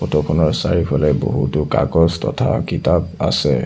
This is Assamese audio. ফটো খনৰ চাৰিওফালে বহুতো কাগজ তথা কিতাপ আছে।